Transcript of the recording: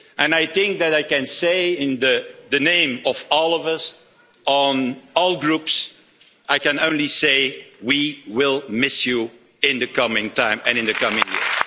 I think that I can say, in the name of all of us, from all Groups, I can only say we will miss you in the coming time and in the coming years.